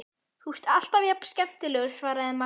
Þú ert alltaf jafn skemmtilegur, svaraði Marteinn.